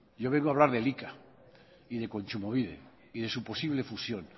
yo vengo a hablar de eiika y de kontsumobide y de su posible fusión